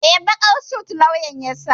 Eh, baƙar sut lauyan ya saka.